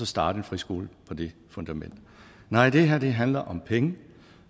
starte en friskole på det fundament nej det her handler om penge